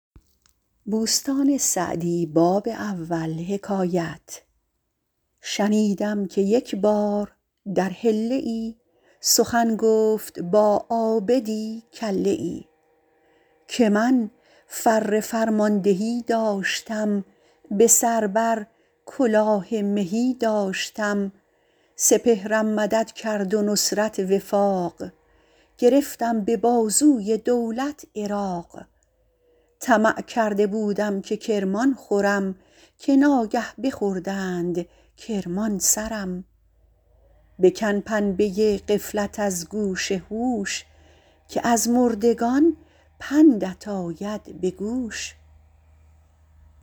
شنیدم که یک بار در حله ای سخن گفت با عابدی کله ای که من فر فرماندهی داشتم به سر بر کلاه مهی داشتم سپهرم مدد کرد و نصرت وفاق گرفتم به بازوی دولت عراق طمع کرده بودم که کرمان خورم که ناگه بخوردند کرمان سرم بکن پنبه غفلت از گوش هوش که از مردگان پندت آید به گوش